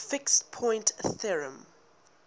fixed point theorem